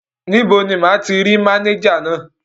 Níbo ni máa ti rí mánéjà náà?